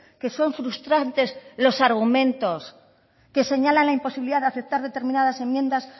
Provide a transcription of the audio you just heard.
que son frustrantes los argumentos que señalan la imposibilidad de aceptar determinadas enmiendas